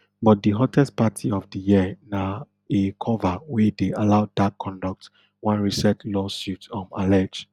but di hottest party of di year na a cover wey dey allow dark conduct one recent lawsuit um allege